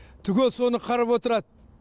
түгел соны қарап отырады